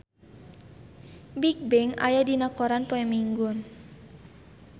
Bigbang aya dina koran poe Minggon